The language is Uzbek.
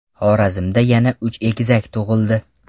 Xorazmda yana uch egizak tug‘ildi.